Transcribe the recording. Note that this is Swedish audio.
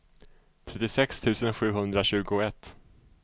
trettiosex tusen sjuhundratjugoett